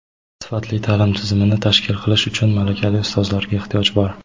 sifatli ta’lim tizimini tashkil qilish uchun malakali ustozlarga ehtiyoj bor.